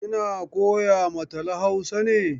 Kina koya ma Tala Hausa ne?